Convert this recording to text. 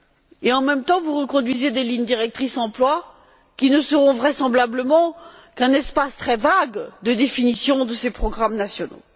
Et, en même temps, vous reconduisez des lignes directrices pour l'emploi, qui ne seront vraisemblablement qu'un espace très vague de définition de ces programmes nationaux.